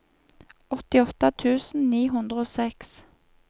åttiåtte tusen ni hundre og seks